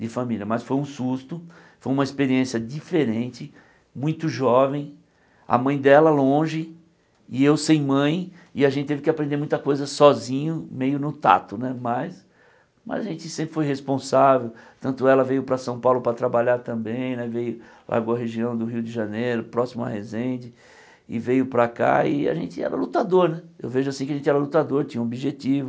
de família, mas foi um susto, foi uma experiência diferente, muito jovem, a mãe dela longe, e eu sem mãe, e a gente teve que aprender muita coisa sozinho, meio no tato né, mas mas a gente sempre foi responsável, tanto ela veio para São Paulo para trabalhar também né, veio, largou a região do Rio de Janeiro, próximo a Resende, e veio para cá, e a gente era lutador né, eu vejo assim que a gente era lutador, tinha um objetivo,